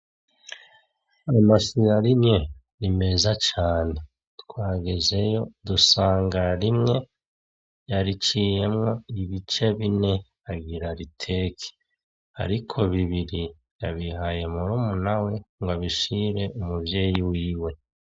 Amasiya rimye rimeza cane twagezeyo dusanga rimwe yariciyemwo ibice bine agira riteke, ariko bibiri yabihaye murumu na we ngo abishire umuvyeyi wiwe.